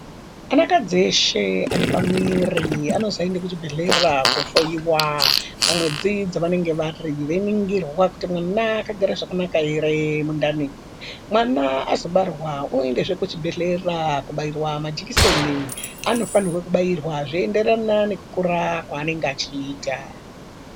Anakadzi eshe ane pamuviri anozoende kuchibhedhlera kohloiwa pamwedzi dzavanenge vari veiningirwa kuti mwana wakagara zvakanaka ere mundani, mwana azobarwa oendezve kuchibhedhlera kubairwa majekiseni aanofanirwa kubairwa zveiyenderana nekukura kwaanenge achiita.